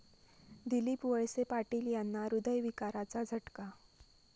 दिलीप वळसे पाटील यांना हृदयविकाराचा झटका